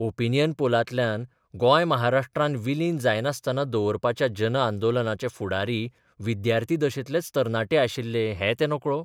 Opinion पोलांतल्यान गोंय महाराष्ट्रांत विलीन जायनासतना दवरपाच्या जनआंदोलनाचे फुडारी विद्यार्थी दशेंतलेच तरणाटे आशिल्ले हैं ते नकळो?